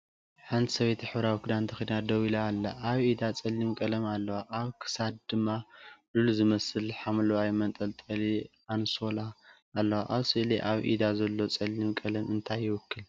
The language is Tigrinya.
ሓንቲ ሰበይቲ ሕብራዊ ክዳን ተኸዲና ደው ኢላ ኣላ። ኣብ ኢዳ ጸሊም ቀለም ኣለዋ፡ ኣብ ክሳዳ ድማ ሉል ዝመስል ሐምላይ መንጠልጠሊ ኣንሶላ ኣለዋ። ኣብ ስእሊ ኣብ ኢዳ ዘሎ ጸሊም ቀለም እንታይ ይውክል?